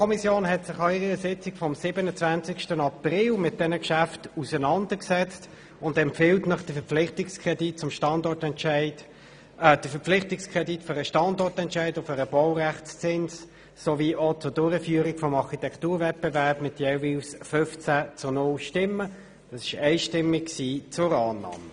Die BaK hat sich an ihrer Sitzung vom 27. April mit diesen Geschäften auseinandergesetzt und empfiehlt den Verpflichtungskredit für den Standortentscheid und für den Baurechtszins sowie zur Durchführung des Architekturwettbewerbs jeweils einstimmig mit 15 zu 0 Stimmen zur Annahme.